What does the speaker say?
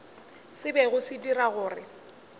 se bego se dira gore